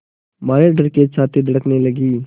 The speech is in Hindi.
मारे डर के छाती धड़कने लगी